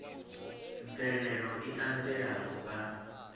mvelelo i anzela u vha